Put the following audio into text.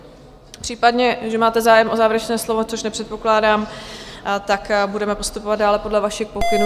Případně, že máte zájem o závěrečné slovo, což nepředpokládám - tak budeme postupovat dále podle vašich pokynů.